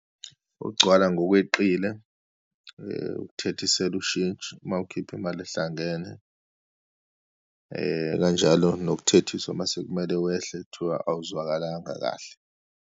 Ukugcwala ngokweqile, ukuthethiselwa ushintshi uma ukhipha imali ehlangene, kanjalo nokuthethiswa uma sekumele wehle, kuthiwa awuzwakalanga kahle.